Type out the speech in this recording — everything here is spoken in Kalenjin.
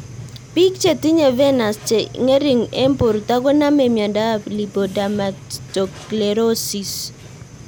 Piik che tinye venous che ng'ering' eng' porto konamei miondop Lipodermatosclerosis